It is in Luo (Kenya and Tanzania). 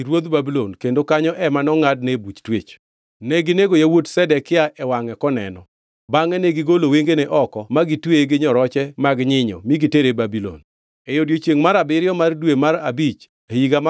Neginego yawuot Zedekia e wangʼe koneno. Bangʼe negigolo wengene oko magitweye gi nyoroche mag nyinyo mi gitere Babulon.